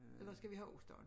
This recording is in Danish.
Eller skal vi have ost også